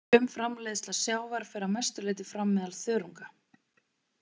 Frumframleiðsla sjávar fer að mestu leyti fram meðal þörunga.